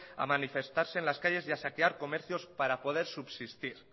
a manifestarse en las calles y a saquear comercios para poder subsistir